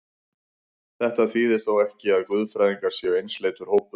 Þetta þýðir þó ekki, að guðfræðingar séu einsleitur hópur.